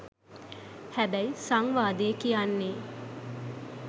හැබැයි සංවාදේ කියන්නේ